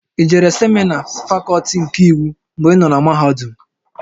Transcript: I jere semịna Fakọlti nke Iwu mgbè ịnọ na mahadum?